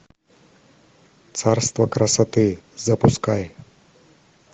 царство красоты запускай